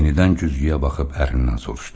Yenidən güzgüyə baxıb ərindən soruşdu.